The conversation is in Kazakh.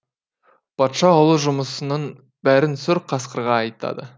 патша ұлы жұмысының бәрін сұр қасқырға айтады